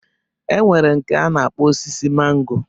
E nwere nke a na-akpọ osisi mango.